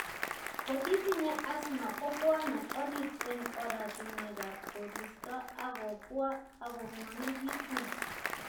Kotitinye asthma kobwone orit eng' oratunwek ab koristo akobwaa akongwonekitun